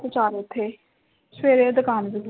ਚਾਰ ਉੱਥੇ ਸਵੇਰੇ ਦੁਕਾਨ ਵੀ